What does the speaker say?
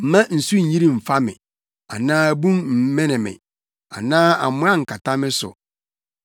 Mma nsu nnyiri mmfa me anaa bun mmene me anaa amoa nkata me so.